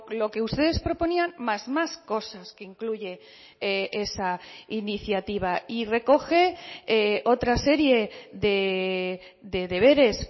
lo que ustedes proponían más más cosas que incluye esa iniciativa y recoge otra serie de deberes